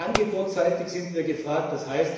Aber auch angebotsseitig sind wir gefragt,